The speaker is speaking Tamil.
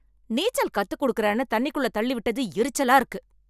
நீச்சல் கத்துக் கொடுக்கிறேனு தண்ணிக்குள்ள தள்ளி விட்டது எரிச்சலா இருக்கு